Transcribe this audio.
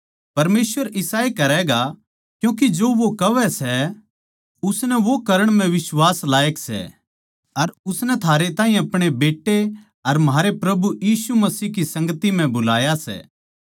परमेसवर इसाए करैगा क्यूँके जो वो कहवै सै उसनै वो करण म्ह बिश्वास लायक सै अर उसनै थारै ताहीं अपणे बेट्टे अर म्हारै प्रभु यीशु मसीह की संगति म्ह बुलाया सै